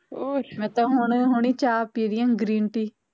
ਮੈਂ ਤਾ ਹੁਣੇ ਹੁਣੇ ਚਾਹ ਪੀ ਰਹੀ ਆ green tea